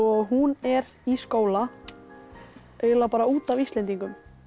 hún er í skóla eiginlega bara út af Íslendingum